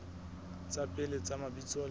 tsa pele tsa mabitso le